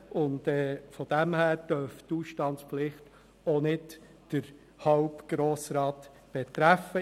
Daher dürfte die Ausstandspflicht nicht den halben Grossen Rat betreffen.